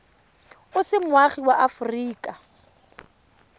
o se moagi wa aforika